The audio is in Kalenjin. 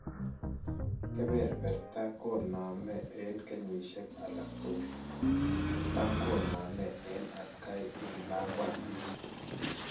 Keberberta konaame en kenyisiek alak tugul, ak tamkoname en atkay en lakwantit.